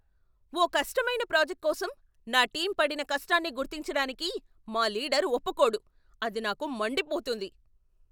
ఓ కష్టమైన ప్రాజెక్ట్ కోసం నా టీమ్ పడిన కష్టాన్ని గుర్తించడానికి మా లీడర్ ఒప్పుకోడు, అది నాకు మండిపోతుంది.